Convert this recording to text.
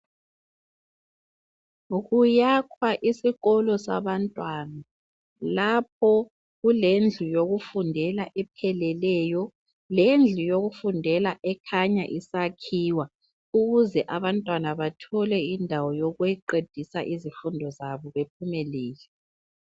Kuyakhwa isikolo sabantwana. Lapho kulendlu yokufundela epheleleyo lendlu yokufundela ekhanya isakhiwa ukuze abantwana bathole indawo yokuqedisa izifundo zabo bephumelele.